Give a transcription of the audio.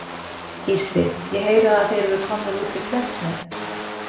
Gísli: Ég heyri það að þeir eru komnir út við Klettsnef?